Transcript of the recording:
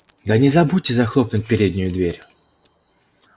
да не забудьте захлопнуть переднюю дверь